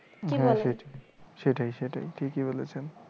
কি বলেন সেটাই সেটাই ঠিকই বলেছেন